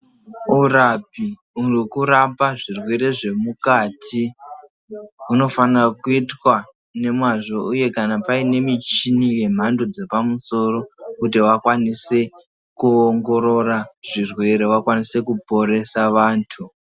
Urapi wekurapa zvirwere zvemukati unofanira kuitwa nemwazvo uye zvee kana paine michini yemhando dzepamusoro kuti wakwanise kuongorora zvirwere, wakwanise kuporesa vantu.